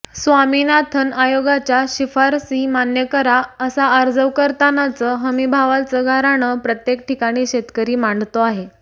स्वामिनाथन आयोगाच्या शिफारसी मान्य करा असा अर्जाव करतानाच हमीभावाचं गाऱ्हाण प्रत्येक ठिकाणी शेतकरी मांडतो आहे